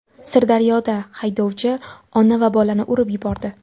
Sirdaryoda haydovchi ona va bolani urib yubordi.